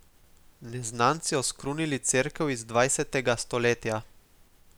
Neznanci oskrunili cerkev iz dvanajstega stoletja.